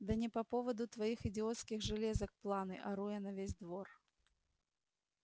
да не по поводу твоих идиотских железок планы ору я на весь двор